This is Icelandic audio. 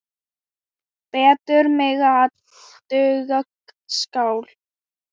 Betur megi ef duga skal.